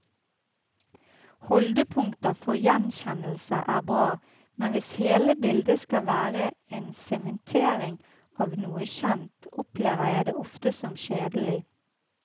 Holdepunkter for gjenkjennelse er bra, men hvis hele bildet skal være en sementering av noe kjent, opplever jeg det ofte som kjedelig.